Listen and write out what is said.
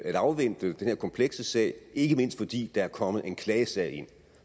afvente den her komplekse sag ikke mindst fordi der er kommet en klagesag ind